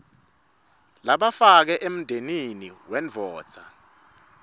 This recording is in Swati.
labafakwe emndenini bendvodza